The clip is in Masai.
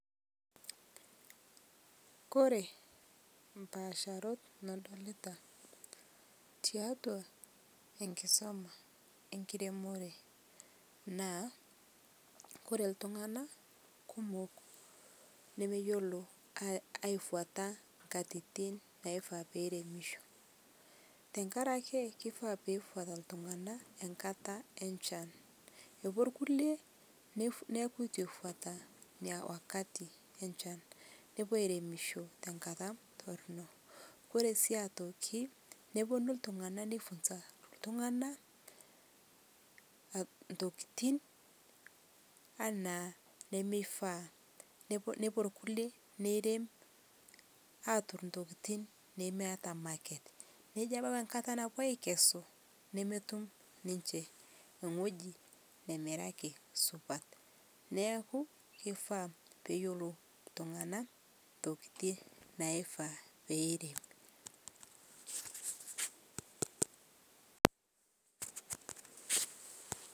Kore mpaasharot nadolita tiatua enkisoma enkiremore naa kore iltung'ana kumok nemeyiolo aefuata nkatitin naifaa peremisho tenkarake pifaa pefuata iltung'ana enkata enchan epuo irkulie nef nepu etu eifuata inia wakati enchan nepuo airemisho tenkata torrono ore sii atoki neponu iltung'ana nifunza iltung'ana aa ntokitin anaa nemeifaa nepo nepuo irkulie neirem aturr intokiting nemeyata market nejo abau enkata napuo aikesu nemetum ninche eng'oji nemiraki supat neeku kifaa peyiolou iltung'anak intokiti naifaa peirem.